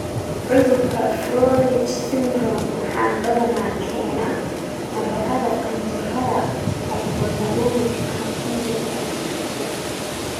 Cudurka 'Froehlich syndrome' waxaa badanaa keena nabarrada qanjidhada hypothalamic ama qanjirka pituitary.